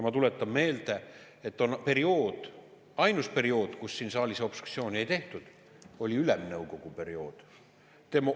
Ma tuletan meelde, et ainus periood, kui siin saalis obstruktsiooni ei tehtud, oli ülemnõukogu periood.